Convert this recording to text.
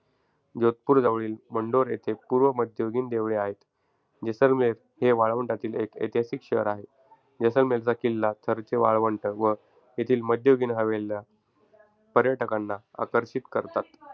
जोधपूर जवळील मंढोर येथे पूर्व मध्ययुगीन देवळे आहेत. जेसलमेर हे वाळवंटातील एक ऐतिहासिक शहर आहे. जेसलमेरचा किल्ला, थरचे वाळवंट व येथील मध्ययुगीन हवेल्या पर्यटकांना आकर्षित करतात.